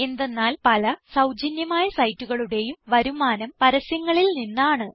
എന്തെന്നാൽ പല സൌജന്യമായ സൈറ്റുകളുടേയും വരുമാനം പരസ്യങ്ങളിൽ നിന്നാണ്